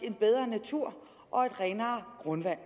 en bedre natur og et renere grundvand